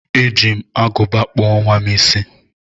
E ji m aguba kpụọ nwam isi